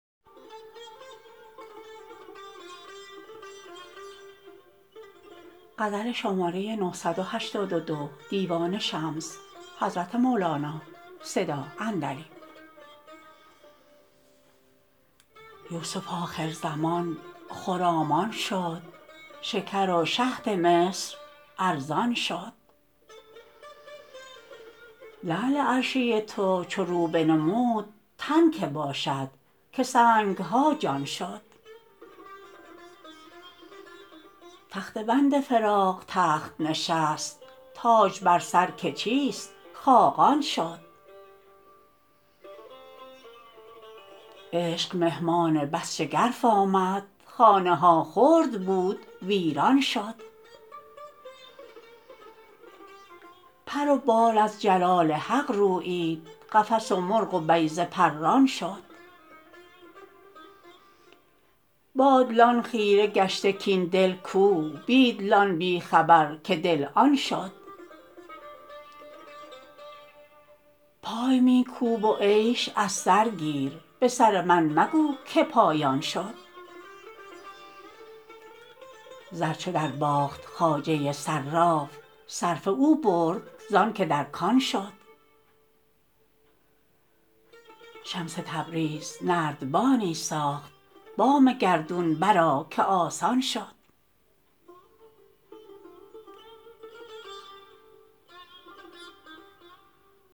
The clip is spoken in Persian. یوسف آخرزمان خرامان شد شکر و شهد مصر ارزان شد لعل عرشی تو چو رو بنمود تن کی باشد که سنگ ها جان شد تخته بند فراق تخت نشست تاج بر سر که چیست خاقان شد عشق مهمان بس شگرف آمد خانه ها خرد بود ویران شد پر و بال از جلال حق رویید قفس و مرغ و بیضه پران شد با دلان خیره گشته کاین دل کو بی دلان بی خبر که دل آن شد پای می کوب و عیش از سر گیر به سر من مگو که پایان شد زر چو درباخت خواجه صراف صرفه او برد زانکه در کان شد شمس تبریز نردبانی ساخت بام گردون برآ که آسان شد